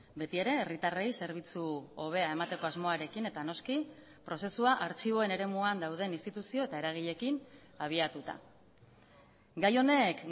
betiere herritarrei zerbitzu hobea emateko asmoarekin eta noski prozesua artxiboen eremuan dauden instituzio eta eragileekin abiatuta gai honek